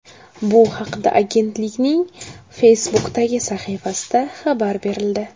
Bu haqda agentlikning Facebook’dagi sahifasida xabar berildi .